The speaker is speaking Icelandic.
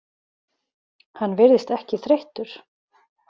Hann virðist ekki þreyttur.